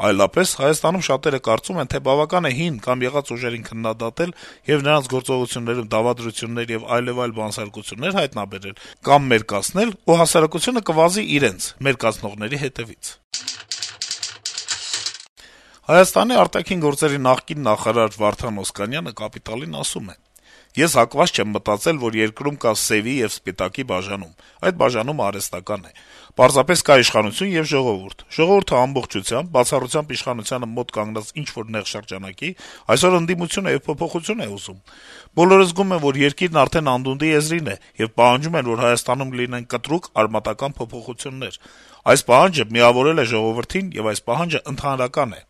Այլապես Հայաստանում շատերը կարծում են, թե բավական է հին կամ եղած ուժերին քննադատել եւ նրանց գործողություններում դավադրություններ եւ այլեւայլ բանսարկություններ «հայտնաբերել» կամ «մերկացնել», ու հասարակությունը կվազի իրենց` մերկացնողների հետեւից»: Հայաստանի արտաքին գործերի նախկին նախարար Վարդան Օսկանյանը «Կապիտալ»-ին ասում է. - «Ես հակված չեմ մտածել, որ երկրում կա սեւի եւ սպիտակի բաժանում. այդ բաժանումն արհեստական է։ Պարզապես կա իշխանություն եւ ժողովուրդ։ Ժողովուրդն ամբողջությամբ, բացառությամբ իշխանությանը մոտ կանգնած ինչ-որ նեղ շրջանակի, այսօր ընդդիմություն է եւ փոփոխություն է ուզում։ Բոլորը զգում են, որ երկիրն արդեն անդունդի եզրին է, եւ պահանջում են, որ Հայաստանում լինեն կտրուկ, արմատական փոփոխություններ։ Այս պահանջը միավորել է ժողովրդին եւ այս պահանջն ընդհանրական է»: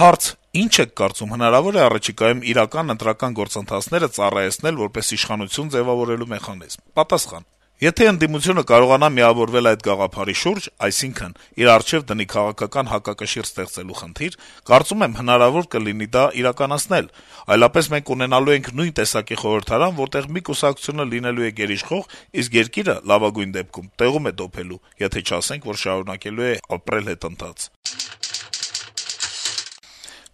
Հարց. - «Ի՞նչ եք կարծում, հնարավո՞ր է առաջիկայում իրական ընտրական գործընթացները ծառայեցնել որպես իշխանություն ձեւավորելու մեխանիզմ»։ Պատասխան. - «Եթե ընդդիմությունը կարողանա միավորվել այդ գաղափարի շուրջ, այսինքն՝ իր առջեւ դնի քաղաքական հակակշիռ ստեղծելու խնդիր, կարծում եմ՝ հնարավոր կլինի դա իրականացնել, այլապես մենք ունենալու ենք նույն տեսակի խորհրդարան, որտեղ մի կուսակցությունը լինելու է գերիշխող, իսկ երկիրը, լավագույն դեպքում, տեղում է դոփելու, եթե չասենք, որ շարունակելու է ապրել հետընթաց»։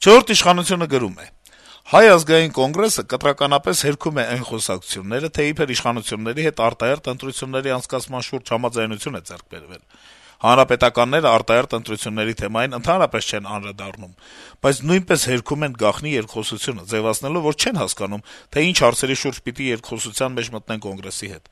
«Չորրորդ ինքնիշխանություն»-ը գրում է. - «Հայ ազգային կոնգրեսը կտրականապես հերքում է այն խոսակցությունները, թե իբր իշխանությունների հետ արտահերթ ընտրությունների անցկացման շուրջ համաձայնություն է ձեռք բերվել: Հանրապետականները արտահերթ ընտրությունների թեմային ընդհանրապես չեն անդրադառնում, բայց նույնպես հերքում են գաղտնի երկխոսությունը` ձեւացնելով, որ չեն հասկանում, թե ինչ հարցերի շուրջ պիտի երկխոսության մեջ մտնեն Կոնգրեսի հետ: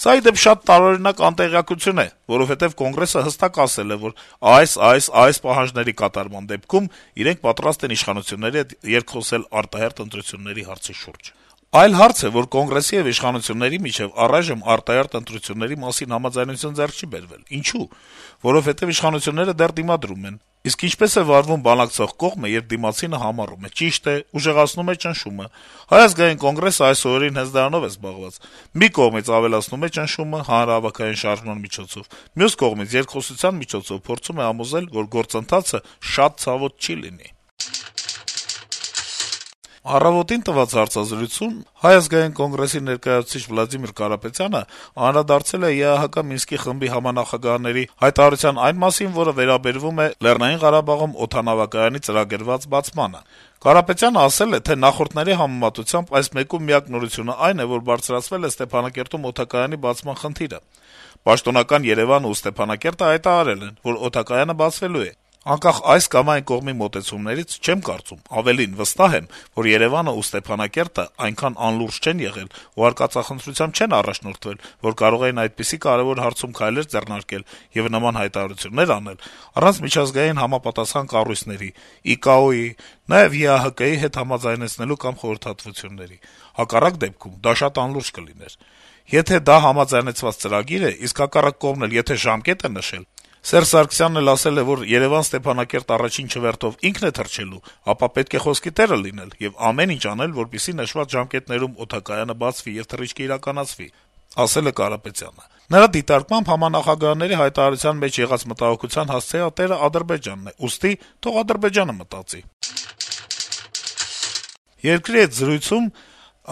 Սա, ի դեպ, շատ տարօրինակ անտեղյակություն է, որովհետեւ Կոնգրեսը հստակ ասել է, որ այս, այս, այս պահանջների կատարման դեպքում իրենք պատրաստ են իշխանությունների հետ երկխոսել արտահերթ ընտրությունների հարցի շուրջ: Այլ հարց է, որ Կոնգրեսի եւ իշխանությունների միջեւ առայժմ արտահերթ ընտրությունների մասին համաձայնություն ձեռք չի բերվել: Ինչո՞ւ: Որովհետեւ իշխանությունները դեռ դիմադրում են: Իսկ ինչպե՞ս է վարվում բանակցող կողմը, երբ դիմացինը համառում է… Ճիշտ է` ուժեղացնում է ճնշումը: Հայ ազգային կոնգրեսը այս օրերին հենց դրանով է զբաղված: Մի կողմից ավելացնում է ճնշումը` հանրահավաքային շարժման միջոցով, մյուս կողմից` երկխոսության միջոցով փորձում է համոզել, որ գործընթացը շատ ցավոտ չի լինի»: «Առավոտ»-ին տված հարցազրույցում Հայ ազգային կոնգրեսի ներկայացուցիչ Վլադիմիր Կարապետյանը անդրադարձել է ԵԱՀԿ-ի Մինսկի խմբի համանախագահների հայտարարության այն մասին, որը վերաբերում է Լեռնային Ղարաբաղում օդանավակայանի ծրագրված բացմանը: Կարապետյանը ասել է, թե նախորդների համեմատությամբ այս մեկում միակ նորությունն այն է, որ բարձրացվել է Ստեփանակերտում օդանավակայանի բացման խնդիրը: «Պաշտոնական Երեւանն ու Ստեփանակերտը հայտարարել են, որ օդակայանը բացվելու է: Անկախ այս կամ այն կողմի մոտեցումներից, չեմ կարծում, ավելին` վստահ եմ, որ Երեւանն ու Ստեփանակերտը այնքան անլուրջ չեն եղել ու արկածախնդրությամբ չեն առաջնորդվել, որ կարող էին այդպիսի կարեւոր հարցում քայլեր ձեռնարկել եւ նման հայտարարություններ անել` առանց միջազգային համապատասխան կառույցների` IKAO-ի, նաեւ ԵԱՀԿ-ի հետ համաձայնեցնելու կամ խորհրդատվությունների: Հակառակ դեպքում դա շատ անլուրջ կլիներ: Եթե դա համաձայնեցված ծրագիր է, իսկ հայկական կողմն էլ եթե ժամկետ է նշել, Սերժ Սարգսյանն էլ ասել է, որ Երեւան - Ստեփանակերտ առաջին չվերթով ինքն է թռչելու, ապա պետք է խոսքի տերը լինել եւ ամեն ինչ անել, որպեսզի նշված ժամկետներում օդակայանը բացվի եւ թռիչքը իրականացվի», - ասել է Կարապետյանը: Նրա դիտարկմամբ, համանախագահների հայտարարության մեջ եղած մտահոգության հասցեատերը Ադրբեջանն է, ուստի թող Ադրբեջանը մտածի: «Երկիր» թերթի հետ զրույցում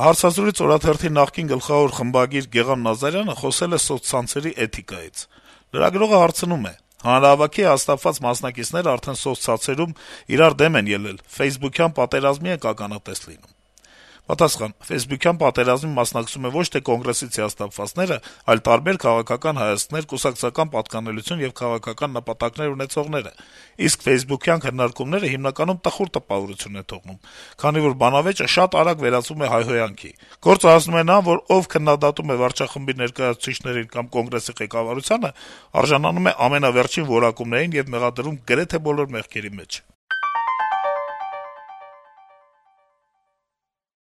«Հայք» թերթի նախկին գլխավոր խմբագիր Գեղամ Նազարյանը խոսել է սոցցանցերի էթիկայից: Լրագրողը հարցնում է. - «Հանրահավաքի հիասթափված մասնակիցները արդեն սոցցանցերում իրար դեմ են ելել, ֆեյսբուքյան պատերազմի ենք ականատես լինում»: Պատասխան. - «Ֆեյսբուքյան պատերազմին մասնակցում են ոչ թե Կոնգրեսից հիասթափվածները, այլ տարբեր քաղաքական հայացքներ, կուսակցական պատկանելություն եւ քաղաքական նպատակներ ունեցողները: Իսկ ֆեյսբուքյան քննարկումները հիմնականում տխուր տպավորություն են թողնում, քանի որ բանավեճը շատ արագ վերածվում է հայհոյանքի… Գործը հասնում է նրան, որ ով քննադատում է վարչախմբի ներկայացուցիչներին կամ Կոնգրեսի ղեկավարությանը, արժանանում է ամենավերջին որակումներին եւ մեղադրվում գրեթե բոլոր մեղքերի մեջ»: